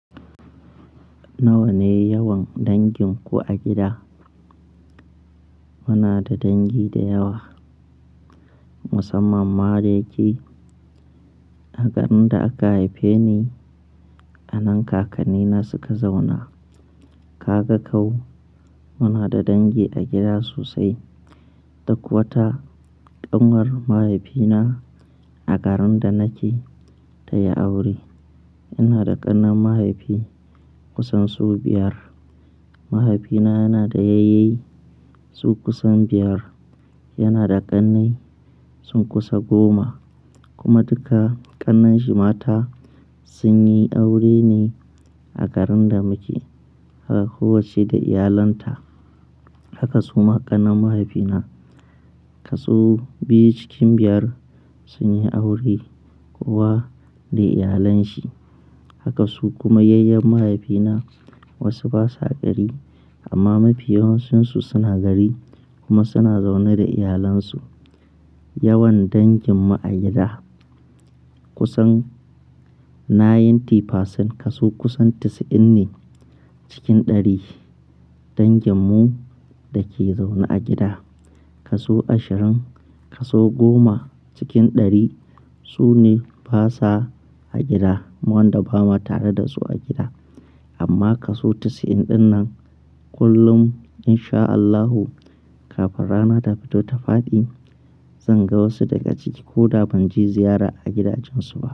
Nawa ne yawan danginku a gida? Muna da dangi da yawa, musamman ma da yake a garin da aka haife ni, a nan kakannina suka zauna. Kaga kau, muna da dangi a gida sosai. Duk wata ƙanwar mahaifina a garin da nake ta yi aure. Ina da ’yan’uwan mahaifi kusan su biyar. Mahaifina yana da yayye su kusan biyar, yana da ƙanne sun kusa goma, kuma duka ƙannan shi mata sun yi aure ne a garin da muke. Kowacce da iyalinta. Haka suma ƙannan mahaifina, kaso biyu cikin biyar sun yi aure kowa da iyalan sa. Haka su kuma yayyin mahaifina wasu basa gari amma mafiyawancinsu suna gari kuma suna zaune da iyalansu. Yawan dangin mu a gida kusan ninety percent kashi kusan 90 ne cikin ɗari danginmu da ke zaune a gida. Kashi ashirin kashi goma cikin ɗari sune basa a gida. Mu wanda ba mu tare da su a gida. Amma kaso 90 ɗin nan kullum in sha Allahu kafin rana ta fito ta faɗi, zan ga wasu daga ciki ko da ban je ziyara a gidajensu ba.